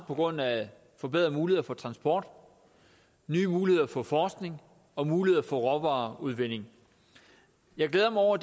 på grund af forbedrede muligheder for transport nye muligheder for forskning og muligheder for råvareudvinding jeg glæder mig over